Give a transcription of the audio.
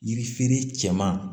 Yiri feere cɛman